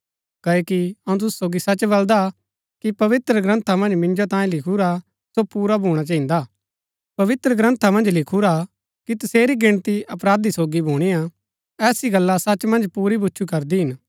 क्ओकि अऊँ तुसु सोगी सच बलदा कि पवित्रग्रन्था मन्ज मिन्जो तांयें लिखुरा सो पुरा भूणा चहिन्दा पवित्रग्रन्था मन्ज लिखुरा कि तसेरी गिणती अपराधी सोगी भुणीआ ऐसी गल्ला सच मन्ज पुरी भुछु करदी हिन